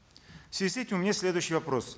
в связи с этим у меня есть следующий вопрос